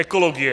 Ekologie.